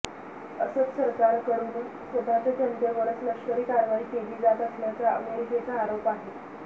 असद सरकारकडून स्वतःच्या जनतेवरच लष्करी कारवाई केली जात असल्याचा अमेरिकेचा आरोप आहे